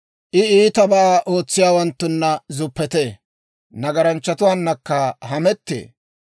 I iitabaa ootsiyaawanttuna zuppetee; nagaranchchatuwaannakka hamettee.